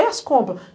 E as compras.